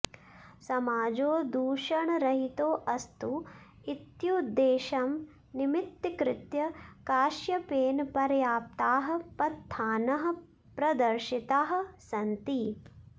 समाजो दूषणरहितोऽस्तु इत्युद्देश्यं निमित्तीकृत्य काश्यपेन पर्याप्ताः पन्थानः प्रदर्शिताः सन्ति